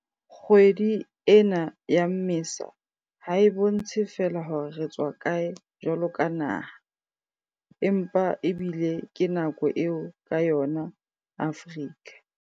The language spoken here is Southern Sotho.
Kgwedi ena ya Mmesa ha e bontshe feela hore re tswa kae jwaloka naha, empa ebile ke nako eo ka yona Afrika